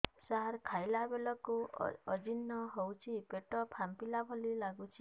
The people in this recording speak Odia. ସାର ଖାଇଲା ବେଳକୁ ଅଜିର୍ଣ ହେଉଛି ପେଟ ଫାମ୍ପିଲା ଭଳି ଲଗୁଛି